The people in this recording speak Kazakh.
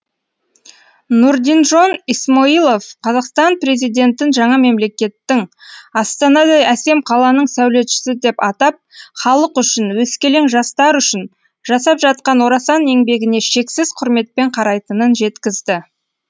нұрдинжон исмоилов қазақстан президентін жаңа мемлекеттің астанадай әсем қаланың сәулетшісі деп атап халық үшін өскелең жастар үшін жасап жатқан орасан еңбегіне шексіз құрметпен қарайтынын жеткізді